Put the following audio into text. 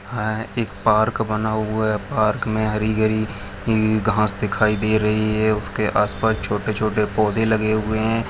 यहाँ एक पार्क बना हुआ हैं पार्क में हरी भरी घास दिखाई दे रही हैं उसके आस पास छोटे छोटे पौधे लगे हुए हैं।